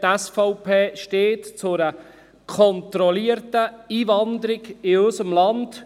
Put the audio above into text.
Die SVP steht zu einer kontrollierten Einwanderung in unser Land.